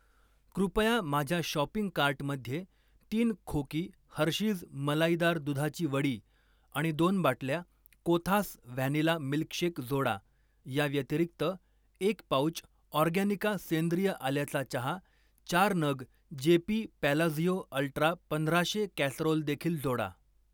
कृपया माझ्या शॉपिंग कार्टमध्ये तीन खोकी हर्षीज मलाईदार दुधाची वडी आणि दोन बाटल्या कोथास व्हॅनिला मिल्कशेक जोडा. या व्यतिरिक्त, एक पाउच ऑर्गॅनिका सेंद्रिय आल्याचा चहा, चार नग जेपी पॅलाझियो अल्ट्रा पंधराशे कॅसरोल देखील जोडा.